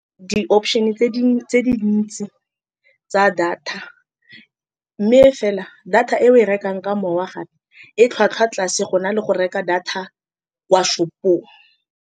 Di-option-e tse tse dintsi tsa data, mme fela data e o e rekang ka mowa gape e tlhwatlhwa tlase, gona le go reka data kwa shop-ong.